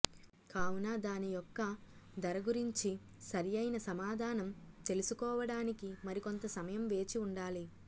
కావున దాని యొక్క ధర గురించి సరైన సమాధానం తెలుసుకోవడానికి మరికొంత సమయం వేచి ఉండాలి